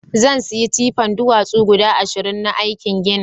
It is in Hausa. zansiya tipan duwatsu guda ashirin na aikin ginin